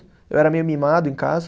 Eu era meio mimado em casa.